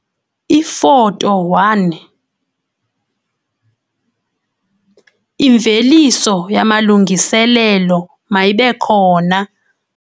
Ifoto 1- Imveliso yamalungiselelo mayibe khona.